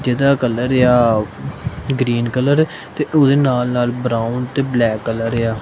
ਇਹਦਾ ਕਲਰ ਆ green colour ਤੇ ਉਹਦੇ ਨਾਲ ਨਾਲ ਬਰਾਉਨ ਤੇ ਬਲੈਕ ਕਲਰ ਆ।